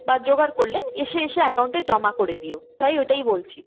বা জোগাড় করলে এসে এসে account এ জমা করে দিও তাই ওটাই বলছি।